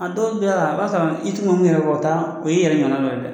A dɔw a b'a sɔrɔ i ti n'ulu yɛrɛ bɔ u ta o ye i yɛrɛ ɲɔgɔna dɔ ye dɛ.